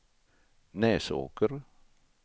Näsåker